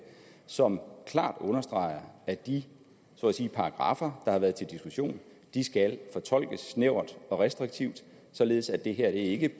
som klart understreger at de så at sige paragraffer der har været til diskussion skal fortolkes snævert og restriktivt således at det her ikke